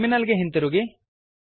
terminal ಗೆ ಹಿಂದಿರುಗಿ